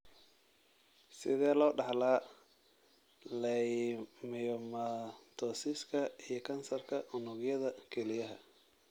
Sidee loo dhaxlaa leiomyomatosiska iyo kansarka unugyada kelyaha?